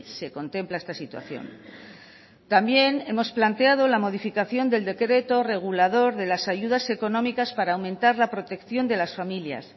se contempla esta situación también hemos planteado la modificación del decreto regulador de las ayudas económicas para aumentar la protección de las familias